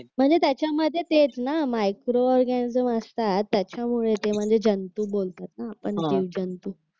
म्हणजे त्याच्यामध्ये तेच ना मायक्रो ऑरगॅनिझम असतात त्याच्यामुळे ते म्हणजे जंतू बोलतात ना आपण जीवजंतू